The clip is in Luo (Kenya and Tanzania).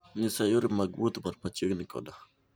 nyisa yore mag wuoth man machiegni koda